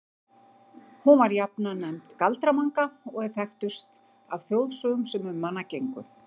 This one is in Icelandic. Hún var jafnan nefnd Galdra-Manga og er þekktust af þjóðsögum sem um hana gengu.